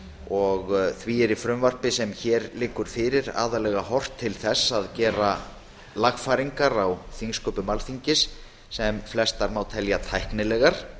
og því er í frumvarpi þessu aðallega horft til þess að gera ýmsar lagfæringar á þingsköpum alþingis sem eru flestar tæknilegar